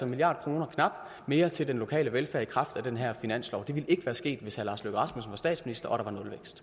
milliard kroner mere til den lokale velfærd i kraft af den her finanslov det ville ikke være sket hvis herre lars løkke rasmussen var statsminister